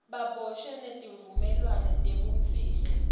baboshwe tivumelwano tebumfihlo